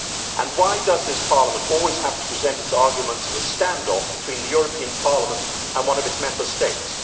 And why does this Parliament always have to present its arguments as a standoff between the European Parliament and one of its Member States?